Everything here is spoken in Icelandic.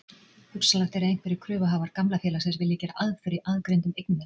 Hugsanlegt er að einhverjir kröfuhafar gamla félagsins vilji gera aðför í aðgreindum eignum þess.